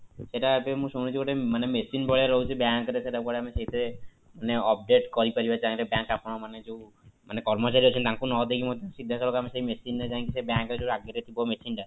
ସେଇଟା ଏବେ ମୁଁ ଶୁଣୁଛି ଗୋଟେ ମାନେ machine ଭଳିଆ ରହୁଛି bank ରେ ସେଇଟା କୁଆଡେ ଆମେ ସେଇଥିରେ update କରିପାରିବା ଚାହିଁଲେ bank ଆପଣ ମାନେ ଯୋଉ କର୍ମଚାରୀ ଅଛନ୍ତି ତାଙ୍କୁ ନ ଦେଇ ମଧ୍ୟ ସିଧା ସଳଖ ଆମେ ସେ machine ରେ ଯାଇକି ସେଇ bank ରେ ଯୋଉ ଆଗରେ ଥିବ machine ଟା